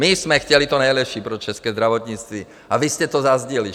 My jsme chtěli to nejlepší pro české zdravotnictví, a vy jste to zazdili.